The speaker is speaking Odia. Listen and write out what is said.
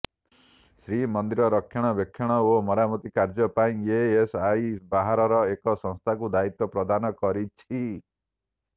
ଶ୍ରୀମନ୍ଦିରର ରକ୍ଷଣାବେକ୍ଷଣ ଓ ମରାମତି କାମ ପାଇଁ ଏଏସଆଇ ବାହାରର ଏକ ସଂସ୍ଥାକୁ ଦାୟିତ୍ୱ ପ୍ରଦାନ କରିଛି